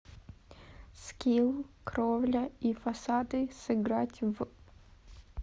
скилл кровля и фасады сыграть в